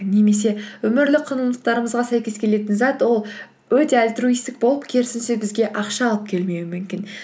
немесе өмірлік құндылықтарымызға сәйкес келетін зат ол өте альтруисттік болып керісінше бізге ақша алып келмеуі мүмкін